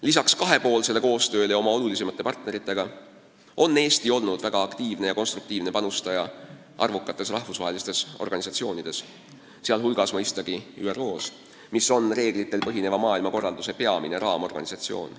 Lisaks kahepoolsele koostööle oma olulisimate partneritega on Eesti olnud väga aktiivne ja konstruktiivne panustaja arvukates rahvusvahelistes organisatsioonides, sh mõistagi ÜRO-s, mis on reeglitel põhineva maailmakorralduse peamine raamorganisatsioon.